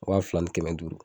Wa fila ni kɛmɛ duuru.